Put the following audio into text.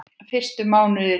Fyrstu mánuðir í